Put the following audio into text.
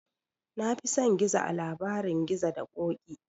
Na fi son gizo a labarin gizo da ƙoƙi